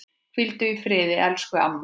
Hvíldu í friði, elsku amma.